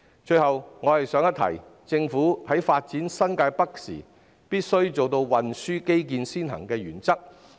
最後我想一提，政府在發展新界北時必須奉行運輸基建先行的原則。